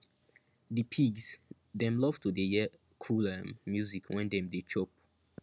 di pigs dem love to dey hear cool um music when dem dey chop